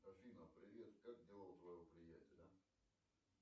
афина привет как дела у твоего приятеля